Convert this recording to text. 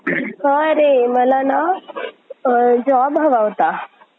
जमीन, भूरचना यांना योग्य अशी पिके आता घेता येतात. पिके आणि शेतीचा प्रहार हे जमीन